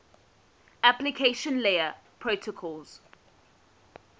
application layer protocols